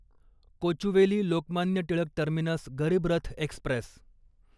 Kochuveli Lokmanya Tilak terminus Garib Rath Express